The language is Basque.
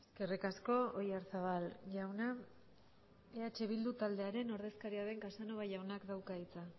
eskerrik asko oyarzabal jauna eh bildu taldearen ordezkaria den casanova jaunak dauka hitza